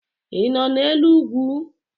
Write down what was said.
ị nọ n'elu ugwu?